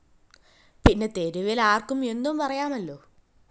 പിന്നെ തെരുവില്‍ ആര്‍ക്കും എന്തും പറയാമല്ലോ